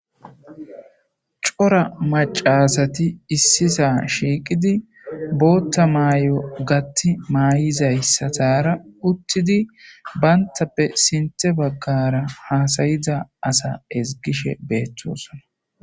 Cora maca asati issi saa shiqqiddi boththa mayo gaththi mayizayissara uttidi banittappe sinththe bagara hasayizza asa ezzigishshe betosona .